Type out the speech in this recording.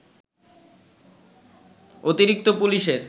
অতিরিক্ত পুলিশের